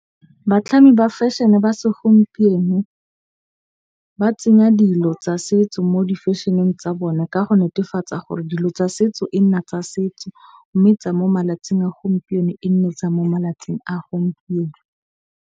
Batlhami ba fashion-e ba segompieno ba tsenya dilo tsa setso mo di-fashion-eng tsa bone ka go netefatsa gore dilo tsa setso e nna tsa setso. Mme tsa mo malatsing a gompieno e nne tsa mo malatsing a gompieno.